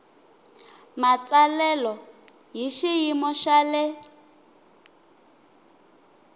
matsalelo hi xiyimo xa le